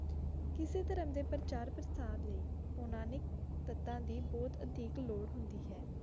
ਜੇ ਕੋਈ ਰੰਗ ਇੱਕੋ ਜਿਹਾ ਨਹੀਂ ਨਿਕਲਦਾ, ਤਾਂ ਕੋਈ ਬਾਜ਼ਾਰ ਨਹੀਂ ਹੁੰਦਾ